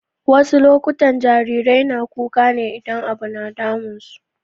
Wasu lokutan jarirai na kuka ne idan abu na damun su.